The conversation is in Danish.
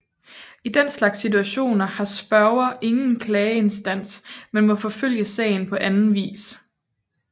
I den slags situationer har spørger ingen klageinstans men må forfølge sagen på anden vis